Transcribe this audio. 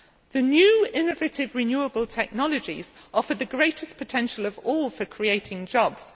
The new innovative renewable technologies offer the greatest potential of all for creating jobs.